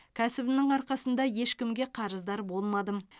кәсібімнің арқасында ешкімге қарыздар болмадым